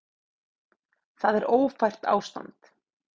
Það er ófært ástand.